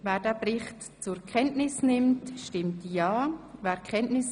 Wer den Bericht zur Kenntnis nimmt, stimmt ja, wer dies ablehnt, stimmt nein.